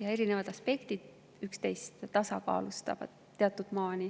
ja erinevad aspektid üksteist teatud maani tasakaalustavad.